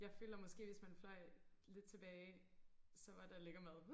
Jeg føler måske hvis man fløj lidt tilbage så var der lækker mad